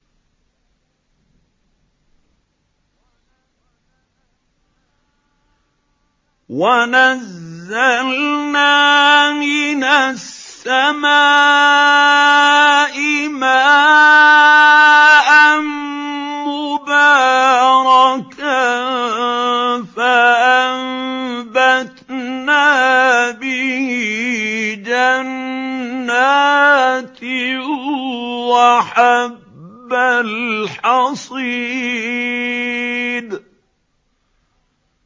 وَنَزَّلْنَا مِنَ السَّمَاءِ مَاءً مُّبَارَكًا فَأَنبَتْنَا بِهِ جَنَّاتٍ وَحَبَّ الْحَصِيدِ